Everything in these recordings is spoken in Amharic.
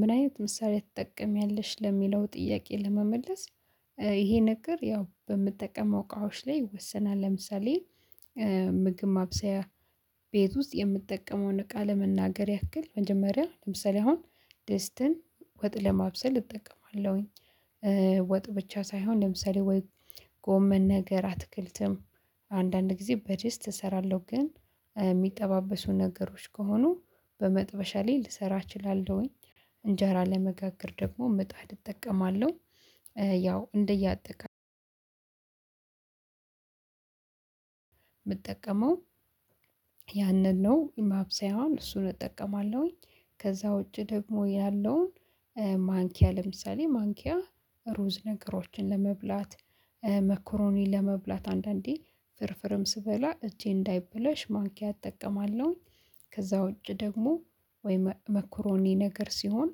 ምን አይነት መሳሪያ ትጠቀሚያለሽ ለሚለው ጥያቄ ለመመለስ? ይሄ ነገር ያው በምጠቀመው እቃዎች ላይ ይወሰናል። ለምሳሌ ምግብ ማብሰያ ቤት ውስጥ የምትጠቀመውን እቃ መናገር ያክል መጀመሪያ ለምሳሌ አሁን ደስትን ወጥ ለማብሰል እጠቀማለሁኝ። ወጥ ብቻ ሳይሆን ለምሳሌ ወይ ጎመን ነገር አትክልትም አንዳንድ ጊዜ በድስት እሰራለሁ ግን እሚጠባበሱ ነገሮች ከሆኑ በመጥበሻ ላይ ልሰራ እችላለሁኝ። እንጀራ ለመጋገር ደግሞ ምጣድ እጠቀማለሁ። ያው እንደየአጠቃላይ የምጠቀመው ያንን ነው ማብሰያውን እሱን እጠቀማለሁኝ። ከዛ ውጪ ደግሞ ያለውን ማንኪያ ለምሳሌ ማንኪያ ሩዝ ነገሮችን ለመብላት መኮሮኒ ለመብላት አንዳንዴ ፍርፍርም ስበላ እጄ እንዳይበላሽ ማንኪያ እጠቀማለሁኝ። ከዛ ውጪ ደግሞ ወይ መኮሮኒ ነገር ሲሆን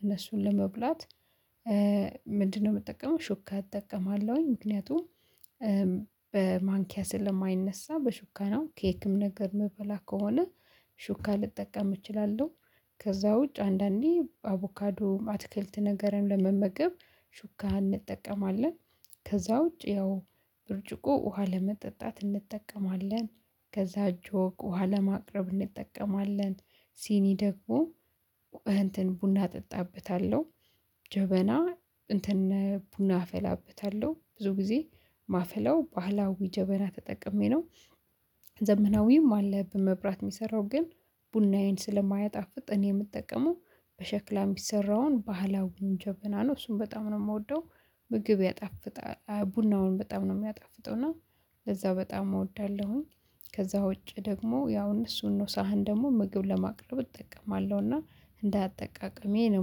እነሱን ለመብላት ምንድነው? የምጠቀመው ሹካ እጠቀማለሁኝ ምክንያቱም በማንኪያ ስለማይነሳ በሹካነው ኬክም ነገር እምበላ ከሆነ ሹካ ልጠቀም እችላለሁ። ከዛ ውጭ አንዳንዴ አቮካዶ አትክልት ነገርን ለመመገብ ሹካ እንጠቀማለን። ከዛ ውጪ ያው ብርጭቆ ውሃ ለመጠጣት እንጠቀማለን። ከዛ ጆግ ውሃ ለማቅረብ እንጠቀማለን። ሲኒ ደግሞ እንትን ቡና እጠጣበታለሁ ጀበና እንትን ቡና አፈላበታለሁ ብዙ ጊዜ እማፈላው ባህላዊ ጀበና ተጠቅሜ ነው። ዘመናዊም አለ በመብራት የሚሰራው ግን ቡናዬን ስለማያጣፍጥ እኔ የምጠቀመው በሸክላ የሚሰራውን ባህላዊ ጀብና ነው እሱን በጣም ነው የምወደው። ምግብ ያጣፍጣል ቡናውን በጣም ነው የሚያጣፍጠው እና ለዛ በጣም እወዳለሁኝ። ከዛ ውጪ ደግሞ ያው እነሱን ነው ሳህን ደግሞ ምግብ ለማቅረብ እጠቀማለሁ እና እንዳጠቃቀሜ ነው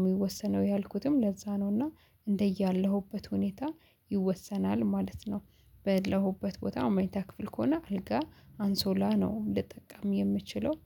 የሚወሰነው ያልኩትም ለዛ ነው። እና እንደያለሁበት ሁኔታ ይወሰናል ማለት ነው። ባለሁበት ቦታ መኝታ ክፍል ከሆነ አልጋ አንሶላ ነው ልጠቀም የምችለው